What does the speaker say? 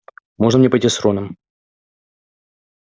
можно мне пойти с роном